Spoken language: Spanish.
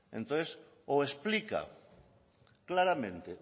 entonces o explica claramente